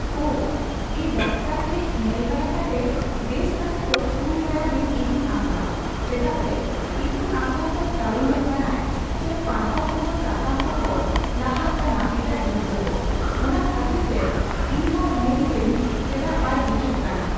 ᱚ, ᱮᱸ ᱰᱟᱠᱛᱟᱨ ᱴᱷᱮᱡ ᱧᱮᱞ ᱵᱟᱲᱟ ᱠᱟᱛᱮ, ᱵᱮᱥ ᱠᱟᱛᱮ ᱫᱚ ᱠᱩᱞ ᱠᱟᱭᱟᱵᱮᱱ ᱤᱛᱩᱱ ᱟᱥᱲᱟ ᱾ ᱪᱮᱫᱟᱜᱥᱮ ᱤᱛᱩᱱᱟᱥᱲᱟ ᱠᱚᱭ ᱛᱟᱭᱚᱢᱚᱜ ᱠᱟᱱᱟᱭ ᱥᱮ ᱯᱟᱲᱦᱟᱣ ᱠᱚᱦᱚᱸ ᱥᱟᱛᱟᱢ ᱠᱚᱠᱚ ᱞᱟᱦᱟᱜ ᱠᱟᱱᱟ ᱮᱴᱟᱜ ᱜᱤᱫᱽᱨᱟᱹ ᱠᱚ ᱾ ᱚᱱᱟ ᱠᱷᱟᱹᱛᱤᱨ ᱛᱮ ᱤᱧᱦᱚᱸᱧ ᱢᱮᱱᱫᱟᱹᱧ ᱪᱮᱫᱟᱜ ᱵᱟᱭ ᱦᱤᱡᱩᱜ ᱠᱟᱱᱟ ?